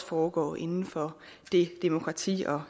foregår inden for det demokrati og